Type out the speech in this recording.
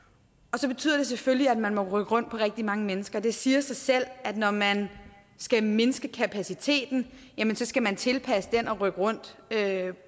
og det betyder selvfølgelig at man må rykke rundt på rigtig mange mennesker det siger sig selv at når man skal mindske kapaciteten så skal man tilpasse den og rykke rundt